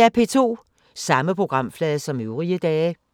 Samme programflade som øvrige dage